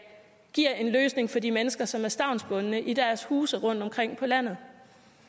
giver en løsning for de mennesker som er stavnsbundne i deres huse rundtomkring på landet